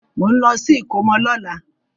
Mò ń lọ sí ìkómọ lọ́la.